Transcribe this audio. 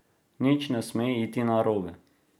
Nič ne sme iti narobe.